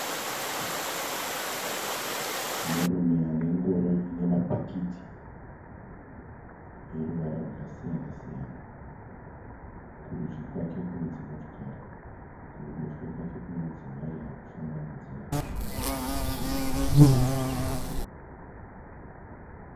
Murume ane ngoro ine mabheketi eruvara rwakasiyana-siyana. Kurudyi kwake kune dzimotokari kuruboshwe kwake kune mudzimai ari kufamba nenzira inopesana neyake.